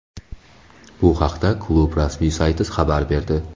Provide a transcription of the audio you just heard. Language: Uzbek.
Bu haqda klub rasmiy sayti xabar berdi .